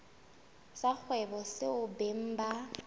sa kgwebo seo beng ba